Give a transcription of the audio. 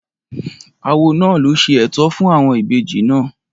Awo náà ló ṣe ètò fún àwọn ìbejì náà